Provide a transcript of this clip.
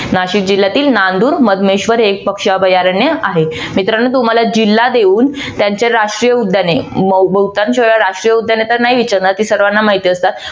नाशिक जिल्ह्यातील नांदूर मधमेश्वर हे एक पक्षी अभयारण्य आहे. मित्रानो तुम्हाला जिल्हा देऊन त्यांची राष्ट्रीय उद्याने बहुतांश वेळा राष्ट्रीय उद्याने तर नाही विचारणार ती सर्वाना माहिती असतात.